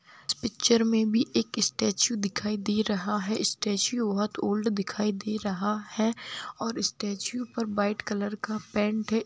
Picture में भी एक स्टेचू दिखाई दे रहा है स्टेचू बहुत ओल्ड दिखाई दे रहा है और स्टेचू पर व्हाइट कलर का पेंट है।